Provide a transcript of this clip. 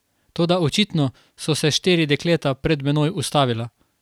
Toda očitno so se štiri dekleta pred menoj ustavila.